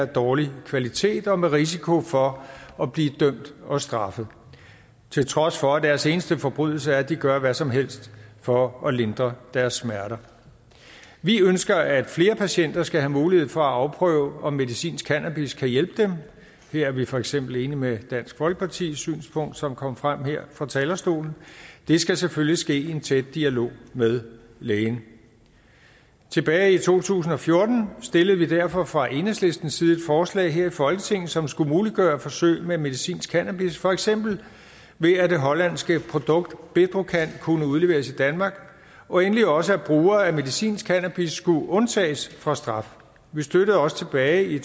dårlig kvalitet og med risiko for at blive dømt og straffet til trods for at deres eneste forbrydelse er at de gør hvad som helst for at lindre deres smerter vi ønsker at flere patienter skal have mulighed for at afprøve om medicinsk cannabis kan hjælpe dem her er vi for eksempel enige med dansk folkepartis synspunkt som kom frem her fra talerstolen det skal selvfølgelig ske i en tæt dialog med lægen tilbage i to tusind og fjorten stillede vil derfor fra enhedslistens side forslag her i folketinget som skulle muliggøre forsøg med medicinsk cannabis for eksempel ved at det hollandske produkt bedrocan kunne udleveres i danmark og endelig også at brugere af medicinsk cannabis skulle undtages fra straf vi støttede også tilbage i